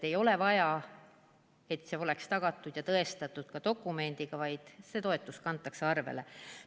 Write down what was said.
Ei ole vaja, et see oleks tõestatud dokumendiga, see toetus kantakse arvele.